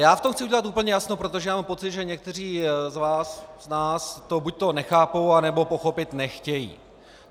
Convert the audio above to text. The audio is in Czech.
Já v tom chci udělat úplně jasno, protože mám pocit, že někteří z nás to buďto nechápou, anebo pochopit nechtějí.